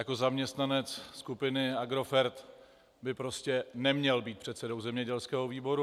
Jako zaměstnanec skupiny Agrofert by prostě neměl být předsedou zemědělského výboru.